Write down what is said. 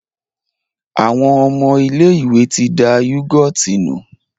Àwọn ọmọ ilé-ìwé ti da yúgọ́ọ̀tì nù.